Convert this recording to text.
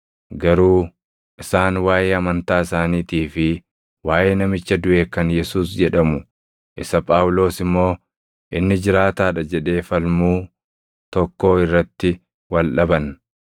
Garuu isaan waaʼee amantaa isaaniitii fi waaʼee namicha duʼe kan Yesuus jedhamu isa Phaawulos immoo, ‘Inni jiraataa dha’ jedhee falmuu tokkoo irratti wal dhaban.